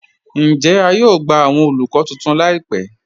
Ǹjẹ̀ à yóò gbà awọn olúkọ̀ tuntun láìpẹ̀?